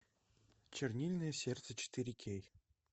чернильное сердце четыре кей